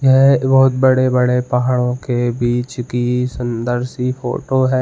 यह बहौत बडे-बडे पहाडो के बिच की सूंदर सी फोटो है।